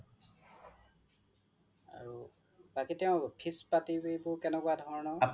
বাকি তেওঁ fees পাতি বোৰ কেনেকুৱা ধৰণৰ হয়